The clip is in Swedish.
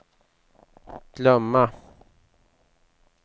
glömma